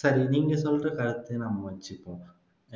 சரி நீங்க சொல்ற கருத்தையே நாம வச்சுக்குவோம்